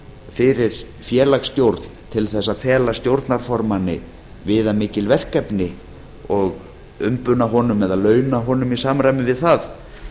fyrir félagsstjórn til þess að fela stjórnarformanni viðamikil verkefni og umbuna honum eða launa honum í samræmi við það